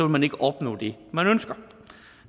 man ikke opnå det man ønsker og